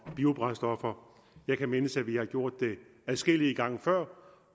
biobrændstoffer jeg kan mindes at vi har gjort det adskillige gange før